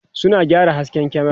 suna gyara hasken kyamera